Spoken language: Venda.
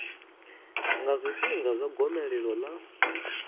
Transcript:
nga zwifhinga zwa gomelelo ḽa